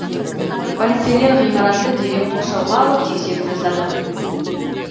полицейлер ғимаратты дереу қоршауға алып тексеру жасады